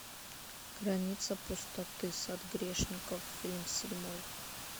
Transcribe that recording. граница пустоты сад грешников фильм седьмой